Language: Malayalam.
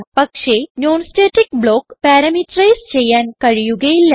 പക്ഷേ non സ്റ്റാറ്റിക് ബ്ലോക്ക് പാരാമീറ്ററൈസ് ചെയ്യാൻ കഴിയുകയില്ല